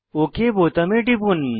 okay বোতামে টিপুন